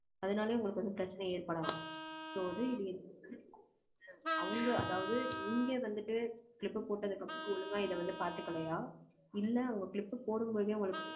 அதனாலேயே, உங்களுக்கு வந்து, பிரச்சனை ஏற்படலாம். So, இது இது அவங்க, அதாவது, இங்க வந்துட்டு, clip போட்டதுக்கு அப்புறம், ஒழுங்கா, இதை வந்து, பாத்துக்கலையா? இல்ல, அவங்க clip போடும்போதே, உங்களுக்கு